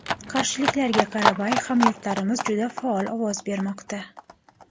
Qarshiliklarga qaramay, hamyurtlarimiz juda faol ovoz bermoqda.